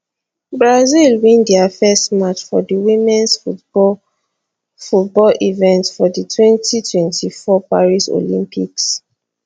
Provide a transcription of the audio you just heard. brazil win dia first match for di womens football football event of di 2024 paris olympics